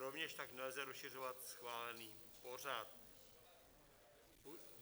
Rovněž tak nelze rozšiřovat schválený pořad.